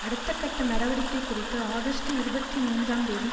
அடுத்த கட்ட நடவடிக்கை குறித்து ஆகஸ்ட் இருபத்தி மூன்றாம் தேதி